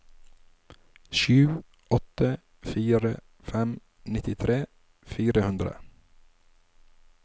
sju åtte fire fem nittitre fire hundre